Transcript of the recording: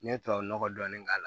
N ye tubabu nɔgɔ dɔɔni k'a la